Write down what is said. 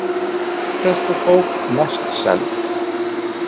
Matreiðslubók mest seld